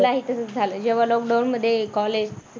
मलाही तसंच झालय. जेव्हा lockdown मध्ये college